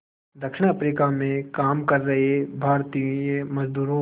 दक्षिण अफ्रीका में काम कर रहे भारतीय मज़दूरों